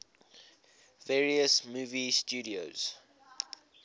various movie studios